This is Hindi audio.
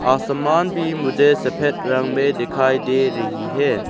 आसमान भी मुझे सफेद रंग में दिखाई दे रही है।